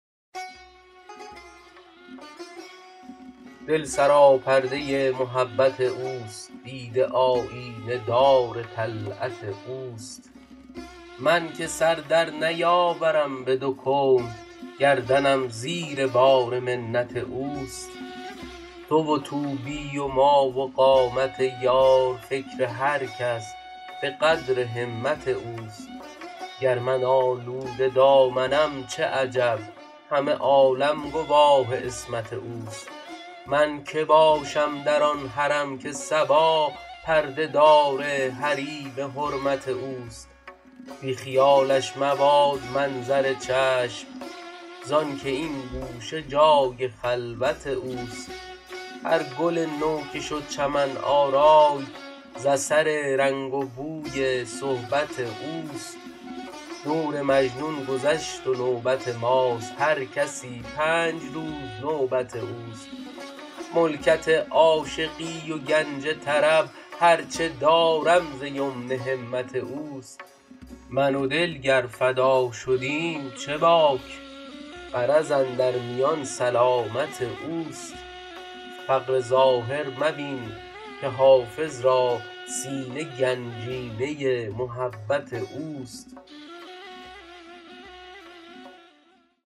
دل سراپرده محبت اوست دیده آیینه دار طلعت اوست من که سر در نیاورم به دو کون گردنم زیر بار منت اوست تو و طوبی و ما و قامت یار فکر هر کس به قدر همت اوست گر من آلوده دامنم چه عجب همه عالم گواه عصمت اوست من که باشم در آن حرم که صبا پرده دار حریم حرمت اوست بی خیالش مباد منظر چشم زآن که این گوشه جای خلوت اوست هر گل نو که شد چمن آرای ز اثر رنگ و بوی صحبت اوست دور مجنون گذشت و نوبت ماست هر کسی پنج روز نوبت اوست ملکت عاشقی و گنج طرب هر چه دارم ز یمن همت اوست من و دل گر فدا شدیم چه باک غرض اندر میان سلامت اوست فقر ظاهر مبین که حافظ را سینه گنجینه محبت اوست